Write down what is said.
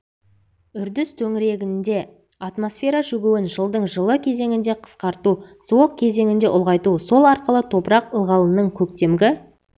үрдіс төңірегінде атмосфера шөгуін жылдың жылы кезеңінде қысқарту суық кезеңінде ұлғайту сол арқылы топырақ ылғалының көктемгі